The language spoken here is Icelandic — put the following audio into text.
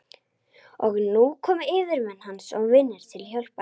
Og nú komu yfirmenn hans og vinir til hjálpar.